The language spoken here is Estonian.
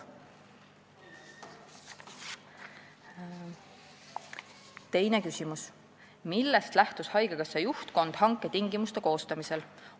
Teine küsimus: "Millest lähtus haigekassa juhtkond hanke tingimuste koostamisel?